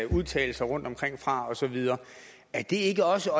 udtalelser og så videre er det ikke også